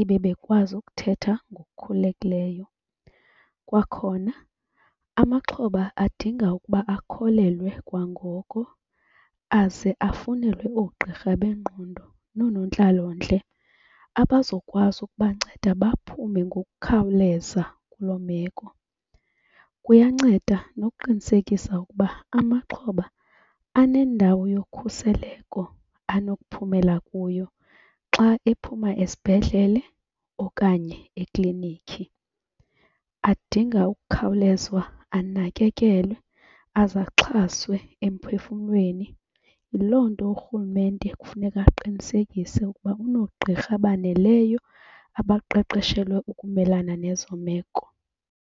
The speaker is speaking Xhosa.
ibe bekwazi ukuthetha ngokukhululekileyo. Kwakhona amaxhoba adinga ukuba akholelwe kwangoko aze afunelwe oogqirha bengqondo noonontlalontle abazokwazi ukubanceda baphume ngokukhawuleza kuloo meko. Kuyanceda nokuqinisekisa ukuba amaxhoba anendawo yokhuseleko anokuphumela kuyo xa ephuma esibhedlele okanye eklinikhi. Adinga ukukhawulezwa anakekelwe aze axhaswe emphefumlweni. Yiloo nto urhulumente kufuneka aqinisekise ukuba unoogqirha abaneleyo abaqeqeshelwe ukumelana nezo meko.